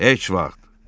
Heç vaxt.